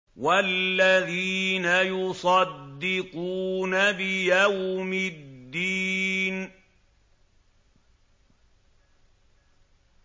وَالَّذِينَ يُصَدِّقُونَ بِيَوْمِ الدِّينِ